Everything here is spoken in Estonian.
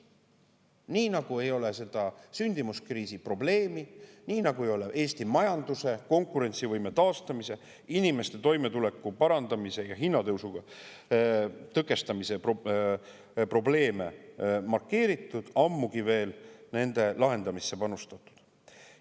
Nii nagu ei ole seda sündimuskriisi probleemi, nii nagu ei ole Eesti majanduse konkurentsivõime taastamise, inimeste toimetuleku parandamise ja hinnatõusu tõkestamise probleemi markeeritud, ammugi veel nende lahendamisse panustatud.